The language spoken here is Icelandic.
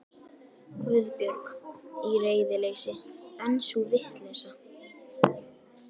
Guðbjörg. í reiðileysi, en sú vitleysa.